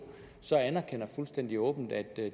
så anerkender fuldstændig åbent at